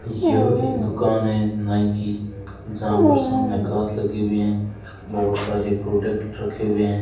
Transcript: यह एक दुकान है नाई की जहां पर सामने घास लगी हुई है बहुत सारे प्रोडक्ट रखे हुए हैं।